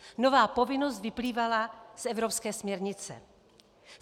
Nová povinnost vyplývala z evropské směrnice.